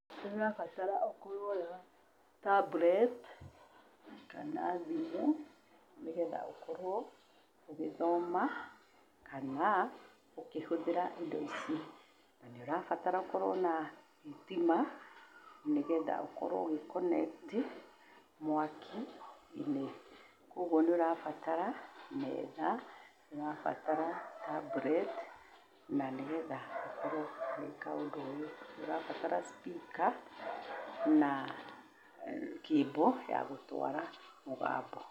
Nĩ ũrabatara ũkorwo wĩna tablet kana thimũ nĩgetha ũkorwo ũgĩthoma kana ũkĩhũthĩra indo ici. Na nĩ ũrabatara ũkorwo wĩna thitima nĩgetha ũkorwo ũgĩconnect mwaki-inĩ. Ũguo nĩ ũrabatara metha, nĩ ũrabatara tablet na nĩgetha ũkorwo ũgĩĩka ũndũ ũyũ. Nĩ ũrabatara speaker na cable ya gũtwara mũgambo.